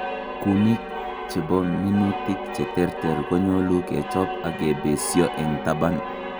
kumik chebo minutik cheterter konyolu kechob ak kibeesyo eng' taban